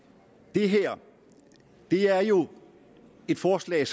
det her er jo et forslag